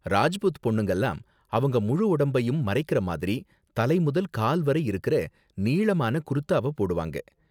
ராஜ்புத் பொண்ணுங்கலாம் அவங்க முழு உடம்பையும் மறைக்குற மாதிரி தலை முதல் கால் வரை இருக்குற நீளமான குர்தாவ போடுவாங்க.